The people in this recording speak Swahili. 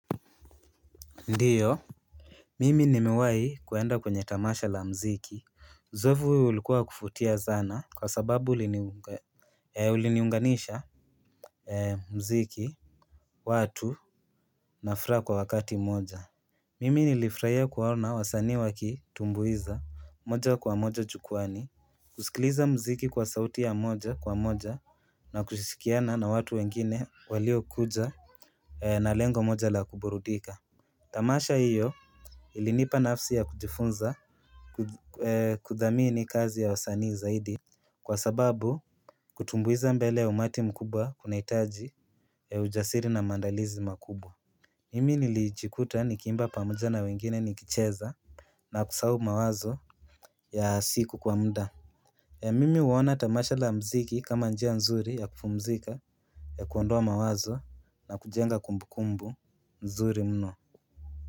Ndiyo. Mimi nimewahi kuenda kwenye tamasha la mziki uzoefu huo ulikuwa wa kuvutia sana kwa sababu uliniunganisha mziki watu na furaha kwa wakati mmoja. Mimi nilifurahia kuwaona wasanii wakitumbuiza moja kwa moja jukwaani. Kusikiliza mziki kwa sauti ya moja kwa moja na kushirikiana na watu wengine walio kuja na lengo moja la kuburudika. Tamasha hiyo ilinipa nafasi ya kujifunza kudhamini kazi ya wasanii zaidi. Kwa sababu kutumbuiza mbele ya umati mkubwa kunahitaji ujasiri na mandalizi makubwa. Mimi nilijikuta nikiimba pamoja na wengine nikicheza na kusahau mawazo ya siku kwa muda. Mimi huona tamasha la mziki kama njia nzuri ya kupumzika ya kuondoa mawazo na kujenga kumbukumbu nzuri mno.